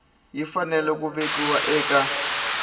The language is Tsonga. yi fanele ku vekiwa eka